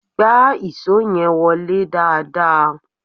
Gbá ìṣó yẹn wọlé dáadáa!